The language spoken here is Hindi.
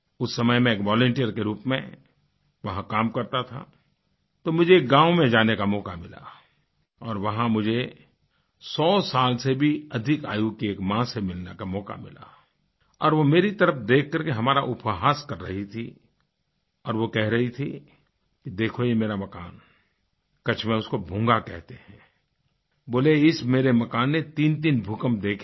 उस समय मैं एक वॉलंटियर के रूप में वहाँ काम करता था तो मुझे एक गाँव में जाने का मौका मिला और वहाँ मुझे 100 साल से भी अधिक आयु की एक माँ से मिलने का मौका मिला और वह मेरी तरफ देखकर के हमारा उपहास कर रही थी और वह कह रही थी देखो यह मेरा मकान है कच्छ में उसको भूंगा कहते हैं बोलीइस मेरे मकान ने 33 भूकंप देखे हैं